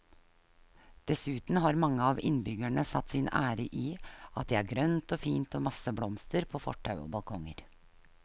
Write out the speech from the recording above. Dessuten har mange av innbyggerne satt sin ære i at det er grønt og fint og masse blomster på fortau og balkonger.